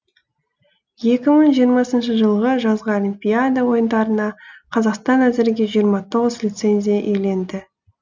екі мың жиырмасыншы жылғы жазғы олимпиада ойындарына қазақстан әзірге жиырма тоғыз лицензия иеленді